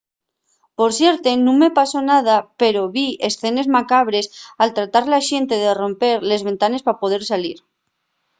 por suerte nun me pasó nada pero vi escenes macabres al tratar la xente de romper les ventanes pa poder salir